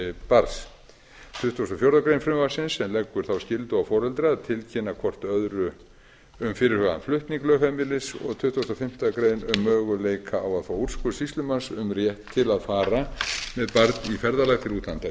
barns tuttugasta og fjórðu grein frumvarpsins sem leggur þá skyldu á foreldra að tilkynna hvort öðru um fyrirhugaðan flutning lögheimilis og tuttugasta og fimmtu grein um möguleika á að fá úrskurð sýslumanns um rétt til að fara með barn í ferðalag til útlanda í tuttugasta